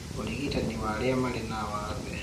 ũrigitani wa arĩa marĩ na wathe